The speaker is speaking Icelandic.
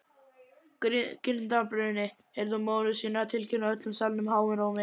Girndarbruni, heyrði hún móður sína tilkynna öllum salnum háum rómi.